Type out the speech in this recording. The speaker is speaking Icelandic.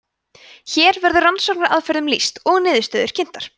hér verður rannsóknaraðferðum lýst og niðurstöður kynntar